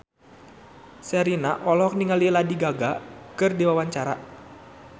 Sherina olohok ningali Lady Gaga keur diwawancara